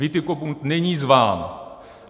Witikobund není zván.